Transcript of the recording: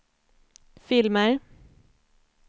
filmer